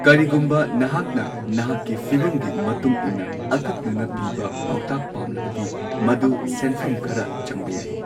ꯀꯔꯤꯒꯨꯝꯕ ꯅꯍꯥꯛꯅ ꯅꯍꯥꯛꯀꯤ ꯐꯤꯚꯝꯒꯤ ꯃꯇꯨꯡ ꯏꯟꯅ ꯑꯀꯛꯅꯅ ꯄꯤꯕ ꯄꯥꯎꯇꯥꯛ ꯄꯥꯝꯂꯕꯗꯤ, ꯃꯗꯨ ꯁꯦꯟꯐꯝ ꯈꯔ ꯆꯪꯕ ꯌꯥꯏ꯫